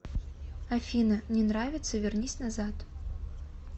афина не нравится вернись назад